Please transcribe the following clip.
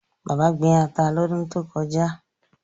Bàbá gbin ata lọ́dún tó kọjá.